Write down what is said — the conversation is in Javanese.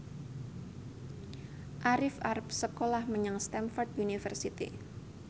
Arif arep sekolah menyang Stamford University